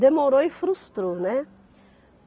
Demorou e frustrou, né?